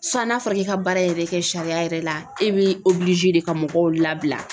Sisan n'a fɔra k'i ka baara yɛrɛ kɛ sariya yɛrɛ la e bɛ de ka mɔgɔw labila .